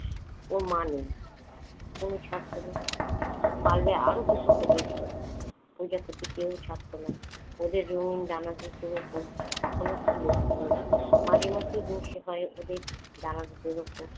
ওর মা নেই। তনু ছাড়ত না। পারলে আরো দুটোকে ধরতো। ওইটা কিছুতেই ছাড়ত না। ওদের নরম ডানা দুটোর উপর ছিল তনুর। মাঝে মাঝে জোশ হয় ওদের ডানা দুটোর উপর।